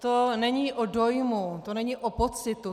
To není o dojmu, to není o pocitu.